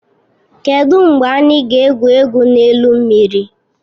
Kedụ mgbe anyị ga-egwu egwu n'elu mmiri?